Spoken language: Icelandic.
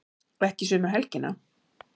Ekki sömu helgina.